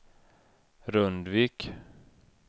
Rundvik